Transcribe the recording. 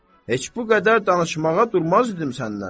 heç bu qədər danışmağa durmazdım sənlə.